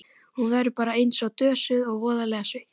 Hún verður bara einsog dösuð öll og voðalega sveitt.